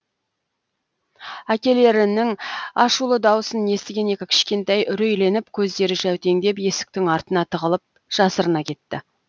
әкелерінің ашулы дауысын естіген екі кішкентай үрейленіп көздері жәутеңдеп есіктің артына тығылып жасырына кетті